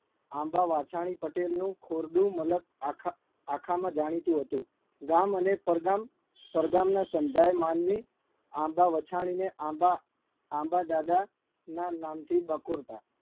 આંબા વાછાણી પટેલનું ખોરડું મલક આખા આખામાં જાણીતું હતું. ગામ અને પરગામ પરગામના સંધાય માનવી આંબા વછાણીને આંબા આંબાદાદાના નામથી બકોરતા